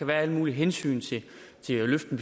være alle mulige hensyn til at løfte